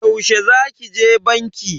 Yaushe za ki je banki?